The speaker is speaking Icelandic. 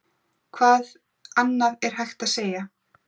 Hvað annað er hægt að segja?